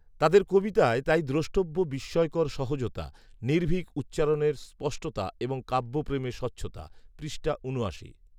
তাদের কবিতায় তাই দ্রষ্টব্য বিস্ময়কর সহজতা, নির্ভীক উচ্চারণের স্পষ্টতা এবং কাব্যপ্রেমের স্বচ্ছতা পৃষ্ঠা ঊনআশি